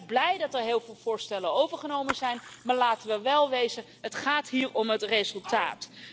Wij zijn ook blij dat er heel veel voorstellen overgenomen zijn, maar laten we wel wezen het gaat hier om het resultaat.